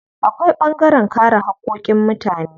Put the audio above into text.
Akwai ɓangaren kare haƙƙoƙin mutane.